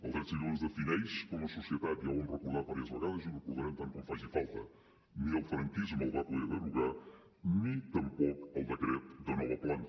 el dret civil ens defineix com a societat ja ho hem recordat diverses vegades i ho recordarem tant com faci falta ni el franquisme el va poder derogar ni tampoc el decret de nova planta